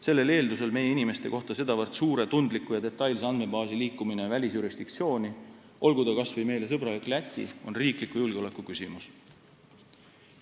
Sellel eeldusel meie inimeste kohta sedavõrd suure, tundliku ja detailse andmebaasi liikumine välisjurisdiktsiooni, olgu ta kas või meile sõbralik Läti, on riikliku julgeoleku küsimus.